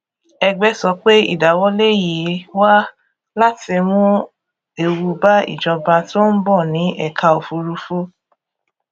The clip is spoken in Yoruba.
ẹgbẹ sọ pé ìdáwọlé yìí wá láti mú ewu bá ìjọba tó ń bọ ní ẹka òfùrúfú